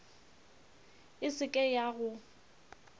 e se ke ya go